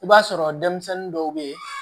I b'a sɔrɔ denmisɛnnin dɔw bɛ yen